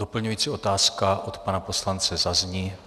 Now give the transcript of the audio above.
Doplňující otázka od pana poslance zazní.